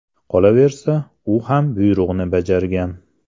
Qolaversa, u ham buyruqni bajargan.